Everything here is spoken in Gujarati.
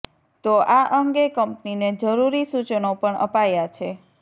તો આ અંગે કંપનીને જરૂરી સુચનો પણ અપાયા છે